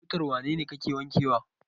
Motar wane ne kake wankewa?